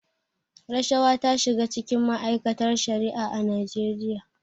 Rashawa ta shiga cikin ma'aikatar Shari'a a Najeriya.